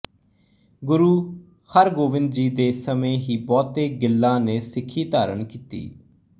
ਗੁਰੂ ਹਰਗੋਬਿੰਦ ਜੀ ਦੇ ਸਮੇਂ ਹੀ ਬਹੁਤੇ ਗਿੱਲਾਂ ਨੇ ਸਿੱਖੀ ਧਾਰਨ ਕੀਤੀ